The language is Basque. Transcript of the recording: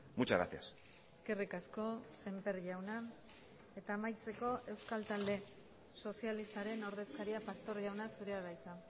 muchas gracias eskerrik asko semper jauna eta amaitzeko euskal talde sozialistaren ordezkaria pastor jauna zurea da hitza